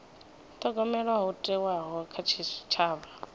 thogomelwa ho thewaho kha tshitshavha